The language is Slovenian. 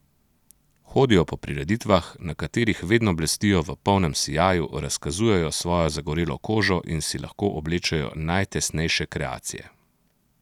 Hodijo po prireditvah, na katerih vedno blestijo v polnem sijaju, razkazujejo svojo zagorelo kožo in si lahko oblečejo najtesnejše kreacije.